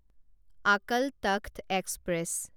Akal Takht express